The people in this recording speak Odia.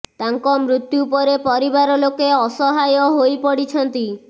ତାଙ୍କ ମୃତ୍ୟୁ ପରେ ପରିବାର ଲୋକେ ଅସହାୟ ହୋଇ ପଡ଼ିଛନ୍ତି